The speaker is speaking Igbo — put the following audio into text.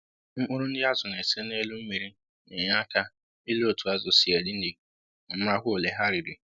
Mkpụrụ nri azụ na ese n'elụ mmiri na-enye aka ile otu azụ sị eri nri ma marakwa ole ha riri